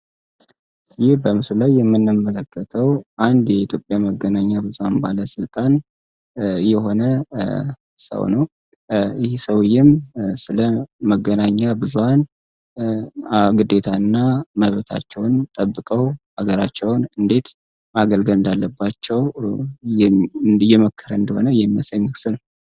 ይህ በምስሉ ላይ የምናየዉ አንድ የኢትዮጵያ መገናኛ ብዙሃን ባለስልጣን የሆነ ሰውዬም ስለመገናኛ ብዙሃን ግዴታ እና ጠብቀው አገራቸውን እንዴት ማገልገል እንዳለባቸው እየመከረ እንደሆነ የሚያሳይ ምስል ነዉ።